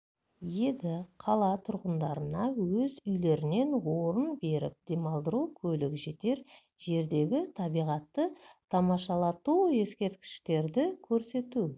еді қала тұрғындарына өз үйлерінен орын беріп демалдыру көлік жетер жердегі табиғатты тамашалату ескерткіштерді көрсету